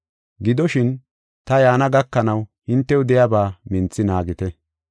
Gidoshin, ta yaana gakanaw hintew de7iyaba minthi naagite.